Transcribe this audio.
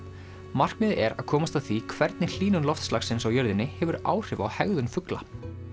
markmiðið er að komast að því hvernig hlýnun loftslagsins á jörðinni hefur áhrif á hegðun fugla